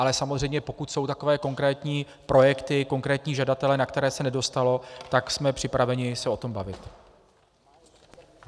Ale samozřejmě pokud jsou takové konkrétní projekty, konkrétní žadatelé, na které se nedostalo, tak jsme připraveni se o tom bavit.